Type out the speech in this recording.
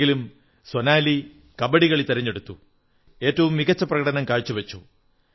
എങ്കിലും സോനാലി കബഡികളി തിരഞ്ഞെടുത്തു ഏറ്റവും മികച്ച പ്രകടനം കാഴ്ച വച്ചു